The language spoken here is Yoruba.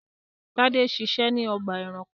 Tade ṣiṣẹ́ ní ọgbà-ẹranko.